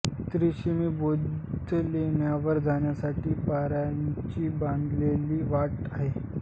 त्रिरश्मी बौद्ध लेण्यांवर जाण्यासाठी पायऱ्यांची बांधलेली वाट आहे